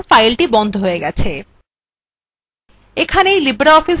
দেখুন এখন file বন্ধ হয়ে গেছে